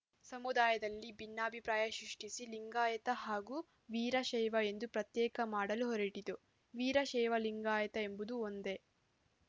ಸಮುದಾಯದಲ್ಲಿ ಭಿನ್ನಾಭಿಪ್ರಾಯ ಸೃಷ್ಟಿಸಿ ಲಿಂಗಾಯತ ಹಾಗೂ ವೀರಶೈವ ಎಂದು ಪ್ರತ್ಯೇಕ ಮಾಡಲು ಹೊರಟಿತು ವೀರಶೈವ ಲಿಂಗಾಯತ ಎಂಬುದು ಒಂದೇ